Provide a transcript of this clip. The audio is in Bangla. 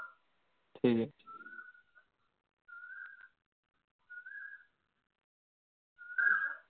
ঠিক আছে